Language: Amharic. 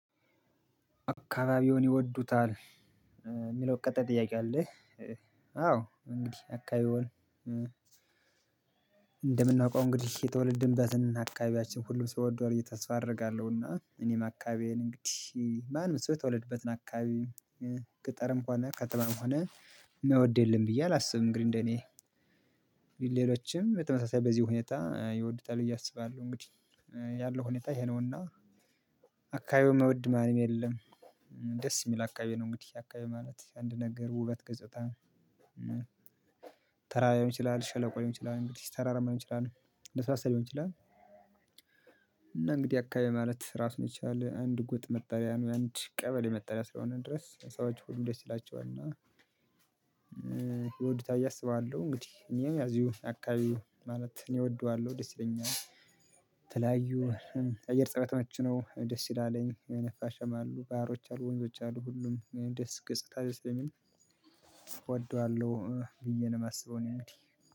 አካባቢዎን ይወዱታል የሚለው ቀጣይ ጥያቄ አለ? አዎ እንግዲህ አካባቢዎን እንደምናውቀው እንግዲህ የተወለድንበትን አካባቢያችን ሁሉም ሰው ይወደዋል ብዬ ተስፋ አደርጋለሁና። እኔም አካባቢዬን እንግዲህ ማንም ሰው የተወለደበትን አካባቢ ገጠርም ሆነ ከተማም ሆነ የማይወድ የለም ብዬ አላስብም። እንግዲህ እንደኔ ሌሎችም በተመሳሳይ በዚህ ሁኔታ ይወዱታል ብዬ አስባለሁ። እንግዲህ ያለው ሁኔታ ይሄ ነውና አካባቢው ማይወድ ማንም የለም። ደስ የሚል አካባቢ ነው እንግዲህ አካባቢ ማለት አንድ ነገር ውበት ገጽታ። ተራራ ሊሆን ይችላል ሸለቆ ሊሆን ይችላል እንግዲህ ተራራማ ሊሆን ይችላል ለስላሳ ሊሆን ይችላል። እና እንግዲህ አካባቢ ማለት ራሱን የቻለ አንድ ጎጥ መጠሪያ ነው። የአንድ ቀበሌ መጠሪያ እስከሆነ ድረስ ሰዎች ሁሉ ደስ ይላቸዋል እና ይወዱታ ብዬ አስባለሁ። እንግዲህ እኔም ያዚሁን አካባቢው ማለት እኔ እወደዋለሁ ደስ ይለኛል። ተላዩ አየር ፀባይ የተመቸ ነው ደስ ይላልኝ የነፋሸማ አሉ ባሮች አሉ ወንዞች አሉ ሁሉም ደስ ገጽታ ደስ ስለሚል። እወደዋለሁ ብዬ ነው የማስበው እኔ። እንግዲህ